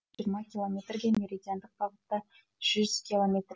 жиырма километрге меридиандық бағытта жүз километр